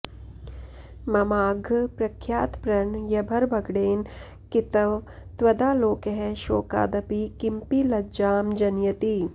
ममाद्य प्रख्यातप्रणयभरभङ्गेन कितव त्वदालोकः शोकादपि किमपि लज्जां जनयति